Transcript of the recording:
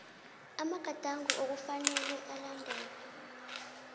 amagadango okufanele alandelwe